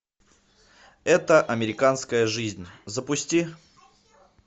это американская жизнь запусти